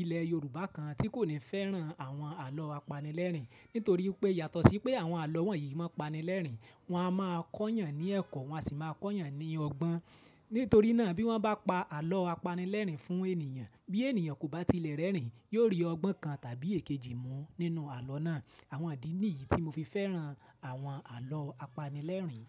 ilẹ̀ Yorùbá kan tí kò ní fẹ́ràn àwọn àlọ́ apanilẹ́rìn. Nítorí pé yàtọ̀ sí pé àwọn àlọ́ wọ̀nyí máa pani lẹ́rìn, wọ́n á máa kọ́yàn ní ẹ̀kọ́, wọ́n sì máa kọ́yàn ní ọgbọ́n. Nítorí náà bí wọ́n bá pa àlọ́ apanilẹ́rìn fún ènìyàn, bí ènìyàn kò bá tilẹ̀ rẹ́rìn, yóò rí ọgbọ́n kan tàbí èkejì mú nínú àlọ́ náà. Àwọn ìdí ní yìí tí mo fi fẹ́ràn àwọn àlọ́ apanilẹ́rìn.